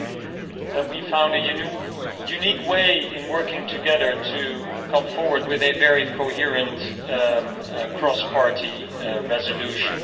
I think that we found a unique way of working together to come forward with a very coherent cross-party resolution.